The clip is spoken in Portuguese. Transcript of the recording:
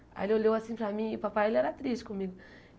Aí ele olhou assim para mim, e o papai ele era triste comigo.